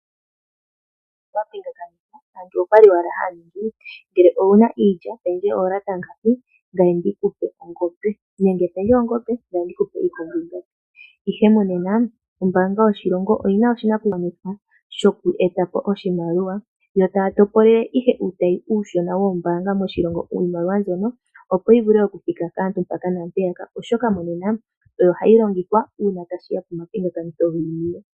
Pomapingakanitho aantu oya li owala haya ningi ngele owu na iilya pendje oolata ngapi ngame ndi ku pe ongombe, nenge pendje ongombe ngame ndi ku pe iikombo itatu. Ihe monena ombaanga yoshilongo oyi na oshinakugwanithwa shoku eta po oshimaliwa yo taya topolele ihe uutayi uushona woombaanga moshilongo iimaliwa mbyono yo yi vule okuthika kaantu mpaka naampeyaka, oshoka monena oyo hayi longithwa ngele tashi ya pomapingakanitho giiniwe.